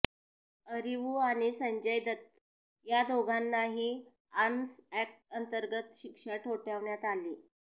अरीवू आणि संजय दत्त या दोघांनाही आर्म्स अॅक्टअंतर्गत शिक्षा ठोठावण्यात आली